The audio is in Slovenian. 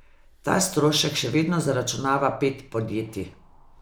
Ta strošek še vedno zaračunava pet podjetij.